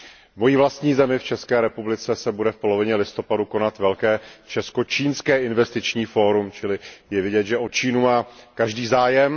V mojí vlastní zemi, v České republice, se bude v polovině listopadu konat velké česko čínské investiční fórum, čili je vidět, že o Čínu má každý zájem.